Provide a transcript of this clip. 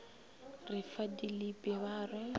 re fa dilipi ba re